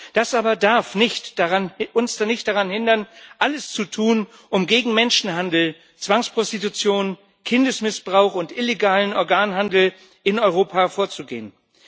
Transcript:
Das aber darf uns nicht daran hindern, alles zu tun, um gegen Menschenhandel, Zwangsprostitution, Kindesmissbrauch und illegalen Organhandel in Europa vorzugehen.